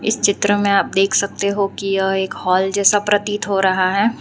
इस चित्र में आप देख सकते हो कि यह एक हाल जैसा प्रतीत हो रहा है।